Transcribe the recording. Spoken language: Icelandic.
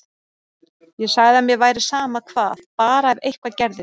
Ég sagði að mér væri sama hvað, bara ef eitthvað gerðist.